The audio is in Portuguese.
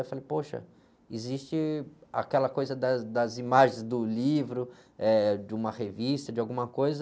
Eu falei, poxa, existe aquela coisa das, das imagens do livro, eh, de uma revista, de alguma coisa...